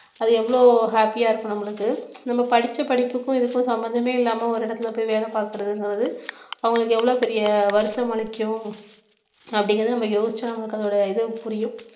அது எவ்வளவு happy ஆ இருக்கும் நம்மளுக்கு நம்ம படிச்ச படிப்புக்கும் இதுக்கும் சம்பந்தமே இல்லாம ஒரு இடத்துல போய் வேலை பார்க்கறதுங்கிறது அவங்களுக்கு எவ்வளவு பெரிய வருத்தமளிக்கும் அப்படிங்கிறத நம்ம யோசிச்சா நம்மளுக்கு அதோட இது புரியும்